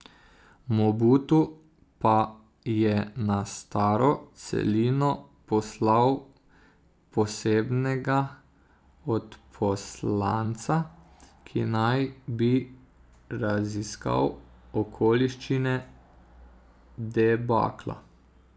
Mobutu pa je na staro celino poslal posebnega odposlanca, ki naj bi raziskal okoliščine debakla.